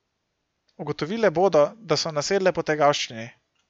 Ugotovile bodo, da so nasedle potegavščini.